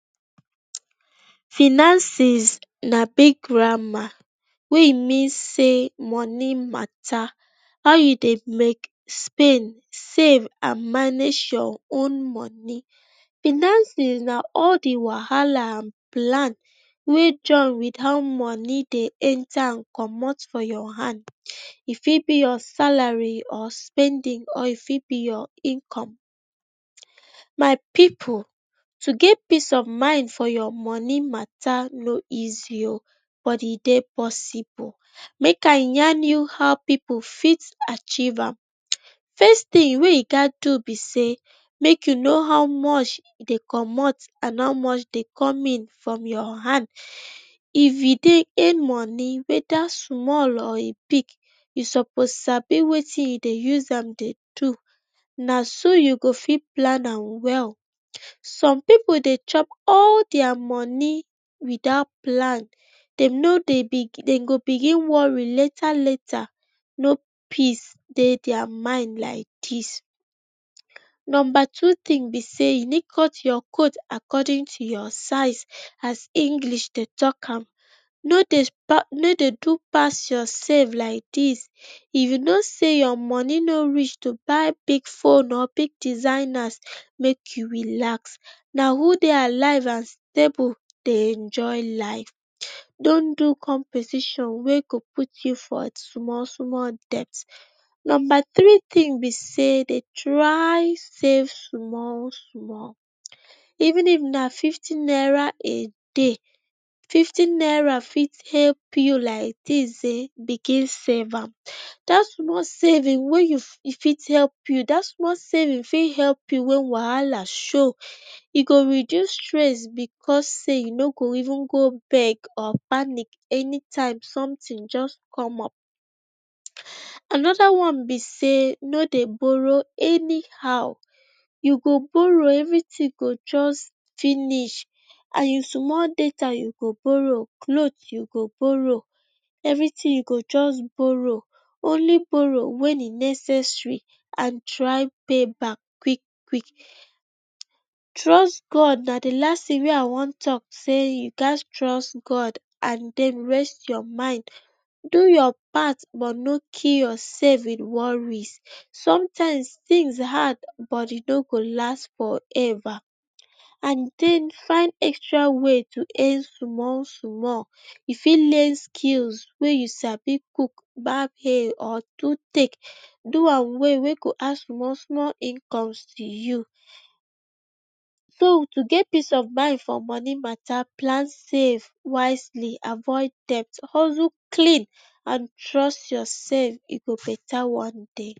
Finances na big gramar wey e mean sey moni matter how you dey make, spend, same and manage your own moni. Fanances na all the wahala and plan wey join dey engta and comot for your hand, e fit be your salari, e fit be spendin and e fit be your income. My pipu to get peace of mind for your moni mata no easy o but e dey possible. Make I yarn you how pipu fit achieve am. First tin wey you gat do be sey, mey you know how much dey comot and how much dey come in for your hand. If you dey earn moni weda small or big, you sopso sabi wetin you dey use am dey do, na so you go fit plan am well. Som pipu dey chop all dia moni without plan, dem no dey bigin dem go bigin wori later. No peace dey dia mind like dis. Nomba two tins be sey, you need cut your coat accordin to your size as English dey talk am, no dey do pass your sef. If you no sey your moni no reach to buy big phone or big designer, make you relax, na who dey alive and stable dey enjoy life don do competition wey go put you for small-small debt. nomba three tinbe sey dey try safe small-small, even if na fifty naira a day, fifty naira fit help you like dis ehn, bigin save am. Dat small savingfit help you wen wahala show, e go reduce stress because sey you no go even go panic anytime somtin just come up. Anoda one be sey no dey boro any how, you go boro, every tin go just finish and small data you go boro, clot you go boro, eveyr tin you go just boro. only Boro wen e necessary and try pay back quik-quik. Trust God na the last tin wey I wan talk, sey you ghas trust god and den raise your mind, do your part no kill yourself with wori sometimes tins hard but e no go last for eva. And den find extra way to earn small-small, you fit learn skill wey you sabi cuk, bab hair or do do am well wey go add small-small income to you. So to get peace pf mind for moni mata, plan safe wisely, avoid debt, hustle clean and trust yourself e go beta one day.